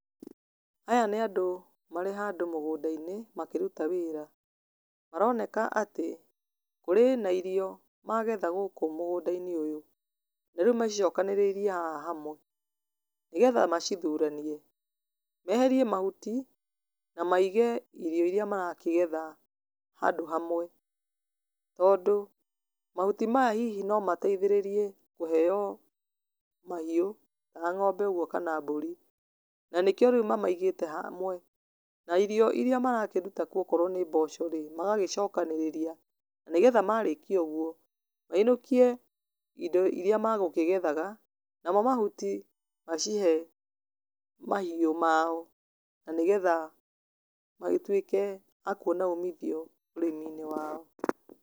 Aya nĩ andũ marĩ handũ mũgũnda -inĩ makĩruta wĩra. Maroneka atĩ kũrĩ na irio magetha gũkũ mũgũnda-inĩ ũyũ. Na rĩu macicokanĩrĩirie haha hamwe nĩgetha macithuranie. Meherie mahuti, na maige irio iria marakĩgetha, handũ hamwe. Tondũ, mahuti maya hihi nomateithĩrĩrie kũheo mahiũ ta ng'ombe ũgwo kana mbũri. Na nĩkĩo rĩu mamaigĩte hamwe. Na irio iria marakĩruta kuo okorwo nĩ mboco rĩ, magacokanĩrĩria nĩgetha marĩkia ũgwo, mainũkie indo iria makũgethaga. Namo mahuti, macihe mahiũ mao na nĩgetha magĩtuĩke a kuona umithio ũrĩmi-inĩ wao.